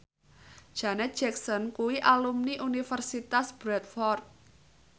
Janet Jackson kuwi alumni Universitas Bradford